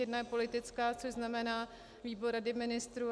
Jeden je politický, což znamená výbor Rady ministrů.